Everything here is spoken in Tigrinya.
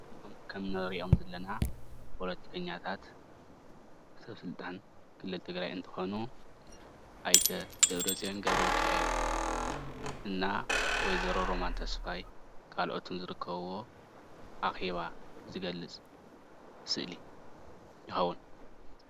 ከም እንሪኦም ዘለና ፖለቲከኛታት ሰበ ስልጣን ክልል ትግራይ እንትኮኑ ኣይተ ደብረፅዮን ገ/ሚካኤል እና ወ/ሮ ሮማ ተስፋይ ካልኦትን ዝርከብዎ ኣኼባ ዝገልፅ ስእሊ ይከውን፡፡